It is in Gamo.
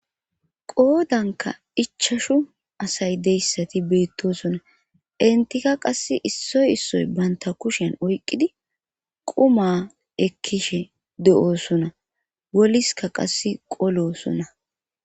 qoodanka ichashu asay deyssati beettosona entika qass issoy issoy baynta kushen oyqqidi quma ekkishe de7oosona boliska qasse qolosona